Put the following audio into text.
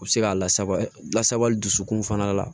U bɛ se ka lasaba lasabali dusukun fana la